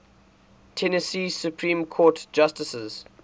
tennessee supreme court justices